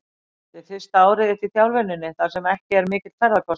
Þetta er fyrsta árið þitt í þjálfuninni þar sem ekki er mikill ferðakostnaður?